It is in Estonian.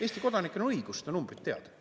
Eesti kodanikel on õigus seda numbrit teada.